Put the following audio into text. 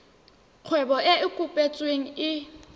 kgwebo e e kopetsweng e